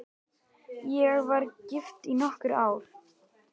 Ég var gift í nokkur ár.